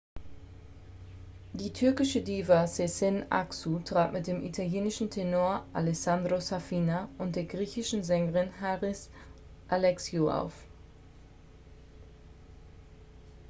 die türkische diva sezen aksu trat mit dem italienischen tenor alessandro safina und der griechischen sängerin haris alexiou auf